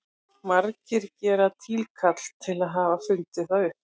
Margir gera tilkall til þess að hafa fundið það upp.